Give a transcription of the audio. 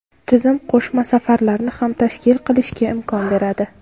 Tizim qo‘shma safarlarni ham tashkil qilishga imkon beradi.